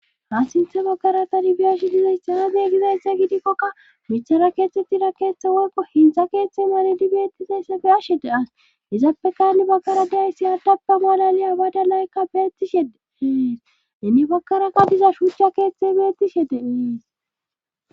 Ha sinthe baggaratadi bi ashe dizaysa haaze gizaysse gidikkokka michara keethtettida keeththe woykko hintha keeththe malidi beettizaysse be ashe de as izappekani baggara days si yaddappe molaliya bada laykka bettishede hees inni bakaraka diza shuuchcha keeththe beettishe deees.